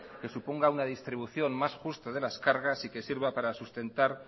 que suponga una distribución más justa de las cargas y que sirva para sustentar